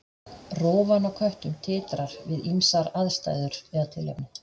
Rófan á köttum titrar við ýmsar aðstæður eða tilefni.